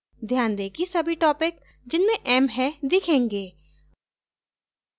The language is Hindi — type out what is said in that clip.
ध्यान दें कि सभी topics जिनमें m है दिखेंगे